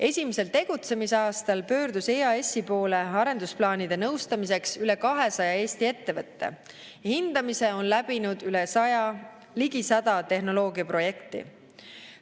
Esimesel tegutsemisaastal pöördus EAS-i poole arendusplaanide nõustamiseks üle 200 Eesti ettevõtte, hindamise on läbinud ligi 100 tehnoloogiaprojekti.